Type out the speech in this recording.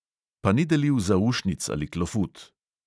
Pa ni delil zaušnic ali klofut.